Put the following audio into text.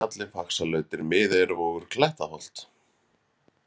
Grýluhjalli, Faxalautir, Miðeyjarvogur, Klettaholt